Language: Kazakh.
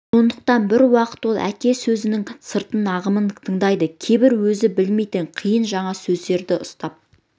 сондықтан бір уақыт ол әке сөзінің сыртын ағымын тыңдайды кейбір өзі білмейтін қиын жаңа сөздерін ұстап